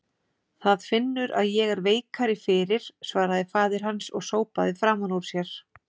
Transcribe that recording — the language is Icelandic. Það finnur að ég er veikari fyrir, svaraði faðir hans og sópaði framan úr sér.